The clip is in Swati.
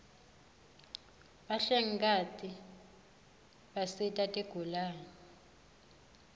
bahlengikati bisita tigulane